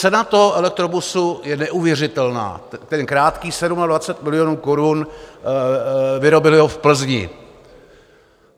Cena toho elektrobusu je neuvěřitelná, ten krátký - 27 milionů korun, vyrobili ho v Plzni.